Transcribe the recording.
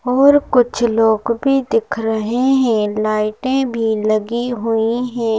और कुछ लोग भी दिख रहे हैं लाइटें भी लगी हुई हैं।